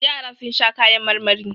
Yara sun sha kayan marmari.